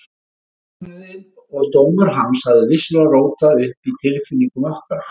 Læknirinn og dómur hans hafði vissulega rótað upp í tilfinningum okkar.